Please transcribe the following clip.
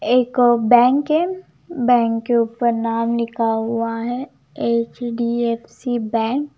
एक बैंक है बैंक के ऊपर नाम लिखा हुआ है एच_डी_एफ_सी बैंक ।